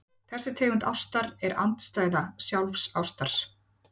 þessi tegund ástar er andstæða sjálfsástar